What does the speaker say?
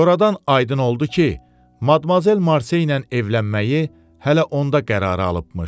Sonradan aydın oldu ki, Madmazel Marseylə evlənməyi hələ onda qərara alıbmış.